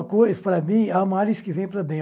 uma coisa para mim, a males que vem para bem.